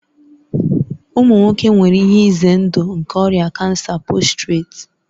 Ụmụ nwoke nwere ihe ize ndụ nke ọrịa kansa postireti